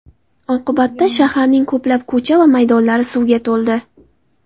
Oqibatda shaharning ko‘plab ko‘cha va maydonlari suvga to‘ldi.